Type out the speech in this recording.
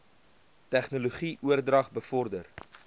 tegnologie oordrag bevorder